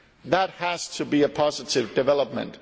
That has to be a positive development.